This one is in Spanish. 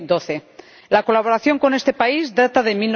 2012. La colaboración con este país data de